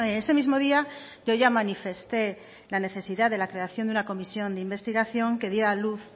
ese mismo día yo ya manifesté la necesidad de la creación de una comisión de investigación que diera a luz